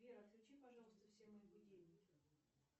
сбер отключи пожалуйста все мои будильники